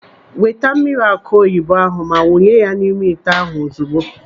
Weta mmiri akụ oyibo ahụ ma wụnye ya n'ime ite ahụ ozugbo.